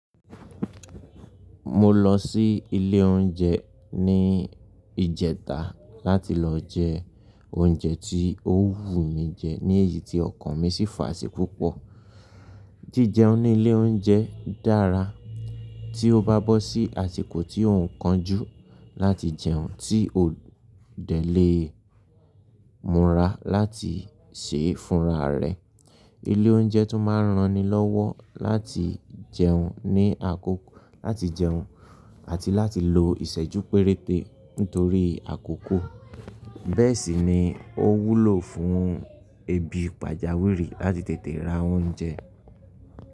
Mo lọ sí ilé oúnjẹ ní ìjẹta láti lọ jẹ oúnjẹ tí ó wù mí jẹ ní èyí tí ọkàn mi sì fà sì púpọ̀. Jíjẹun ní ilé oúnjẹ dára tí o bá bọ́ sí àsìkò tí ò ń kánjú láti jẹun tí ò dẹ̀ le múra láti sè é fúnra rẹ. Ilé oúnjẹ tún máa ran ni lọ́wọ́ láti jẹun ní àkókò láti jẹun àti láti lo ìṣẹ́jú péréte nítorí àkókò. Bẹ́ẹ̀ sì ni ó wúlò fún ebi pàjáwìrì láti tètè ra oúnjẹ.